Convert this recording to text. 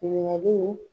Ɲininkaliw